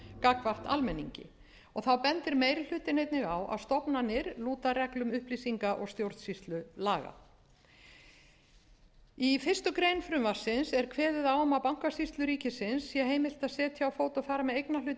gagnvart almenningi þá bendir meiri hlutinn einnig á að stofnanir lúta reglum upplýsinga og stjórnsýslulaga í fyrstu grein frumvarpsins er kveðið á um að bankasýslu ríkisins sé heimilt að setja á fót og fara með eignarhluti